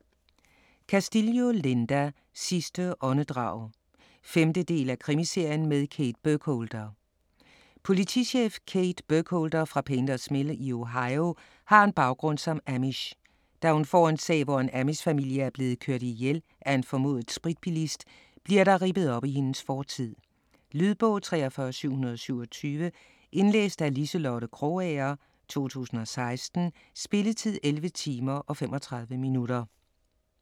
Castillo, Linda: Sidste åndedrag 5. del af krimiserien med Kate Burkholder. Politichef Kate Burkholder fra Painters Mill i Ohio har en baggrund som amish. Da hun får en sag, hvor en amishfamilie er blevet kørt ihjel af en formodet spritbilist, bliver der rippet op i hendes fortid. Lydbog 43727 Indlæst af Liselotte Krogager, 2016. Spilletid: 11 timer, 35 minutter.